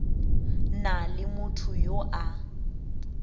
na le motho yo a